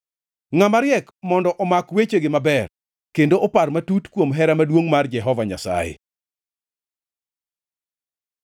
Ngʼama riek mondo omak wechegi maber, kendo opar matut kuom hera maduongʼ mar Jehova Nyasaye.